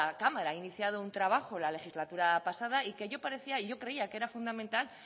cámara ha iniciado un trabajo la legislatura pasada y que creía que era fundamental